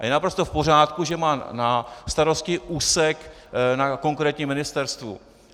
A je naprosto v pořádku, že má na starosti úsek na konkrétním ministerstvu.